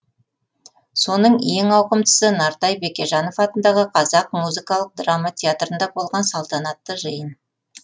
соның ең ауқымдысы нартай бекежанов атындағы қазақ музыкалық драма театрында болған салтанатты жиын